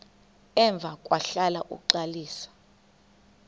emva kwahlala uxalisa